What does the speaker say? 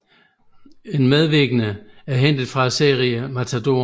En medvirkende er hentet fra serien Matador